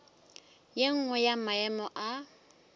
ye nngwe ya maemo a